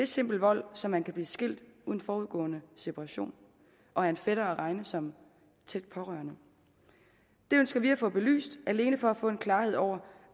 simpel vold så man kan blive skilt uden forudgående separation og er en fætter at regne som tæt pårørende det ønsker vi at få belyst alene for at få en klarhed over